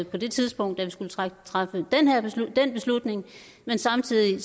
på det tidspunkt da vi skulle træffe den beslutning men samtidig